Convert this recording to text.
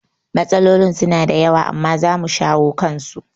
Matsalolin suna da yawa amma zamu shawo kansu